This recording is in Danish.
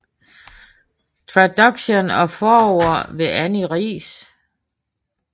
Traduction og forord ved Annie Riis